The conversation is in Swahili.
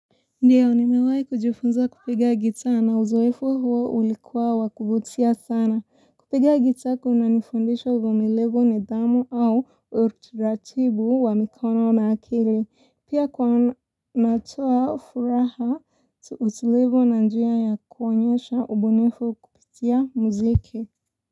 Ndio nimewai kujufunza kupiga guitar na uzoefo huo ulikuwa wakuvutia sana. Kupiga guitar kunanifundisha uvumilivu nidhamu au utaratibu wa mikono na akili. Pia kwa natoa furaha utulivu na njia ya kuonyesha ubunifu kupitia muziki.